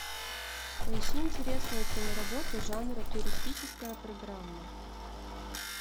поищи интересную киноработу жанра туристическая программа